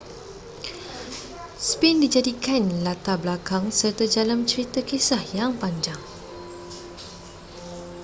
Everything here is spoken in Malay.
sphinx dijadikan latar belakang serta jalan cerita kisah yang panjang